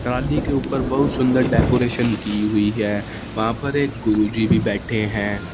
डाली के ऊपर बहुत सुंदर डेकोरेशन की हुई है वहां पर एक गुरुजी भी बैठे हैं।